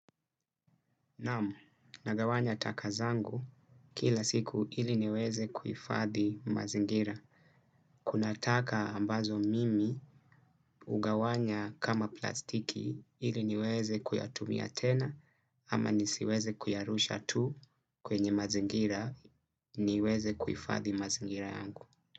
Naam, nagawanya taka zangu kila siku ili niweze kuifadhi mazingira. Kuna taka ambazo mimi ugawanya kama plastiki ili niweze kuyatumia tena ama nisiweze kuyarusha tu kwenye mazingira niweze kuifathi mazingira yangu.